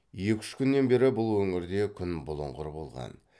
екі үш күннен бері бұл өңірде күн бұлыңғыр болған